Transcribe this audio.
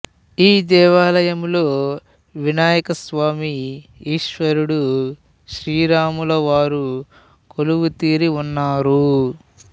ఈ దేవాలయంలో వినాయక స్వామి ఈశ్వరుడు శ్రీ రాము ల వారు కొలువుతీరి ఉన్నారు